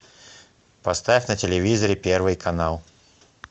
поставь на телевизоре первый канал